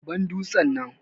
Ban dutsen nan.